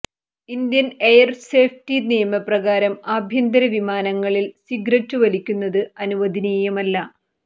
Indian air safety നിയമപ്രകാരം ആഭ്യന്തര വിമാനങ്ങളിൽ സിഗരറ്റ് വലിക്കുന്നത് അനുവദനീയമല്ല